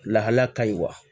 Lahala ka ɲi wa